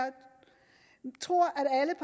tror